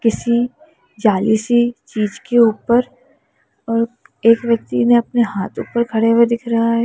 किसी जाली सी चीज के ऊपर एक व्यक्ति ने अपने हाथ ऊपर खड़े हुए दिख रहा है।